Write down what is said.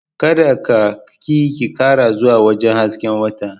Kada ka/ki kara zuwa wajen hasken watan…